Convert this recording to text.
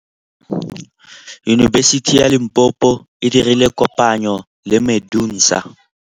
Yunibesiti ya Limpopo e dirile kopanyô le MEDUNSA.